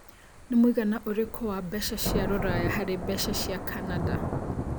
Nĩ mũigana ũrikũ wa mbeca cia rũraya harĩ mbeca cĩa Canada